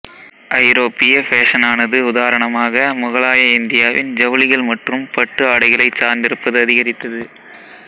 ஐரோப்பிய ஃபேஷனானது உதாரணமாக முகலாய இந்தியாவின் ஜவுளிகள் மற்றும் பட்டு ஆடைகளைச் சார்ந்திருப்பது அதிகரித்தது